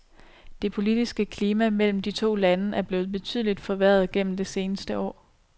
Det politiske klima mellem de to lande er blevet betydeligt forværret gennem det seneste år.